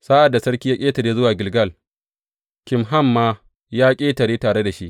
Sa’ad da sarki ya ƙetare zuwa Gilgal, Kimham ma ya ƙetare tare da shi.